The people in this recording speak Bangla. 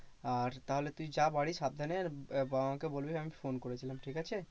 আর তাহলে তুই যা বাড়ি সাবধানে আর বাবা মা কে বলবি আমি phone করেছিলাম ঠিক আছে।